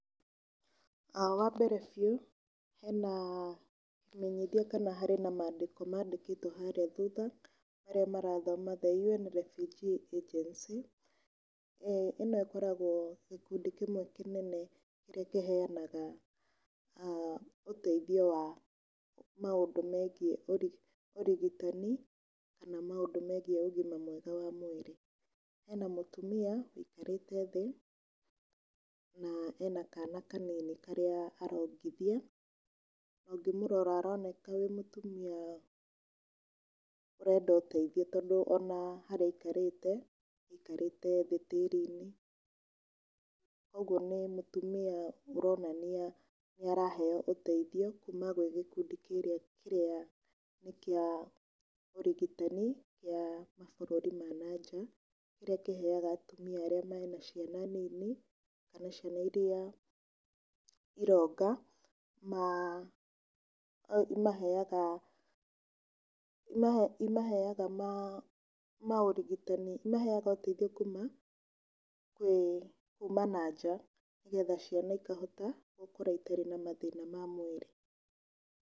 Wa mbere biũ hena kĩmenyithia kana harĩ na mandĩko mandĩkĩtwo harĩa thutha marĩa marathoma, The UN Refugee Agency, ĩno ikoragwo gĩkundi kĩmwe kĩnene kĩrĩa kĩhanaga ũteithio wa maũndũ megiĩ ũrigitani kana maũndũ megiĩ ũgima mwega wa mwĩrĩ. Hena mũtumia ũikarite thĩ, na ena kana kanini karĩa arongithia, ũngĩmũrora aroneka e mũtumia ũrenda ũteithio, tondũ ona harĩa aikarite aikarĩte thĩ tĩri-inĩ. Ũguo nĩ mũtumia aronania nĩ araheyo ũteithio kũma gwĩ gĩkundi kĩrĩa nĩ kĩa ũrigitani kĩa mabũrũri ma na nja. Kĩrĩa kĩheyaga atumia arĩa mena ciana nini, kana ciana iria ironga, imaheaga imaheaga maũrigitani, imaheaga ũteithio kuma na nja, nĩgetha ciana ikahota gũkũra itarĩ na mathina ma mwĩrĩ.